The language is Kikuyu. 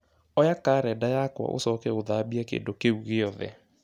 oya karenda yakwa ũcoke ũthambie kĩndũ kĩu gĩothe